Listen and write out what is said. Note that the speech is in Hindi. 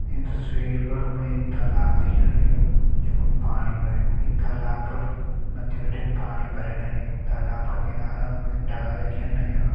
ईं तस्वीर पर हमें तालाब दिखेण लग्युं जखुन पाणी भर्युं ईं तालाब पर मत्थि बिटिन पाणी भरयण लग्युं तालाब का किनार हमें डाला दिखेण लग्यां।